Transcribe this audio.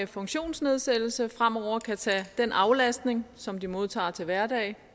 funktionsnedsættelse fremover kan tage den aflastning som de modtager til hverdag